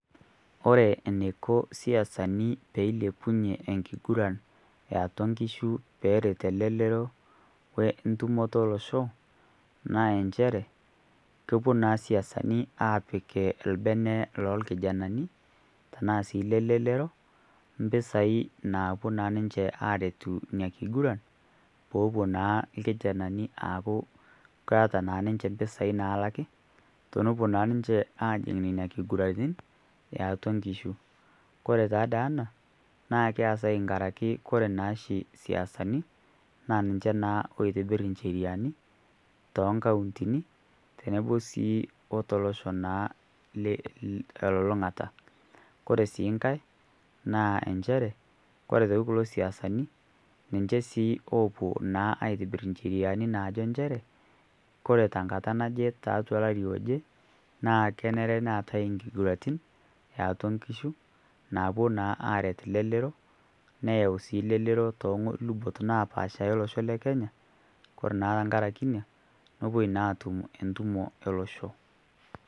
Kore neiko isiasani peilepunye enkiguran e atua nkishu peeret elelero we entumoto olosho naa enchere kepuo naa isiasani aapik lbene loo lkijanani tanaa sii le lelero mpisai naapuo naa niche aaretu nia kiguran poopuo naa lkijanani aaku keata naa niche mpisai naalaki tonopuo naa ninche aajing' nenia kiguratin e atua nkishu. Kore taa dei ana naa keasai nkaraki kore naachi isiasani naa ninche naa oitibirr ncheriani too nkauntini tenebo sii o to losho naa te lulung'ata. Kore sii nkae naa enchere kore kulo isiasani ninche sii oopuo aitibirr ncheriani naajo enchere kore te nkata naje taatua lari oje naa kenare neatae nkiguratin e atua nkishu naapuo naa aaret lelero neyeu sii lelero too lubot naapaasha e losho le Kenya kore naa tankaraki inia nopuoi naa aatum entumo elosho.